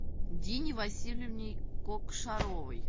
дине васильевне кокшаровой